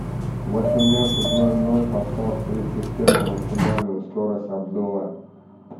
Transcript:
в восемнадцать ноль ноль поставь сплит система максимальную скорость обдува